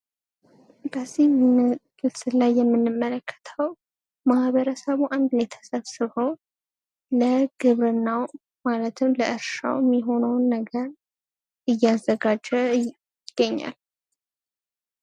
በዚህ ምስል ላይ የምንመለከተው ማህበረሰብ አንድ ላይ ተሰብስቦ ለግብርናው ማለትም ለእርሻው የሚያስፈልገውን ነገር እያዘጋጀ ይገኛል ።